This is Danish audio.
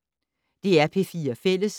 DR P4 Fælles